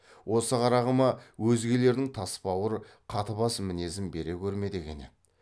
осы қарағыма өзгелердің тас бауыр қатыбас мінезін бере көрме деген еді